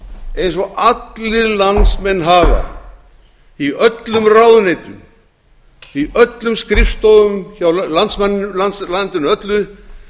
eins og allir landsmenn hafa í öllum ráðuneytum í öllum skrifstofum í landinu öllu